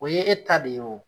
O ye e ta de ye wo